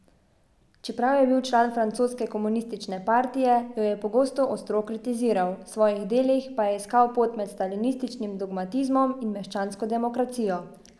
Čeprav je bil član francoske komunistične partije, jo je pogosto ostro kritiziral, v svojih delih pa je iskal pot med stalinističnim dogmatizmom in meščansko demokracijo.